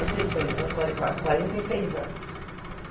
e seis. Quarenta quase quarenta e seis anos.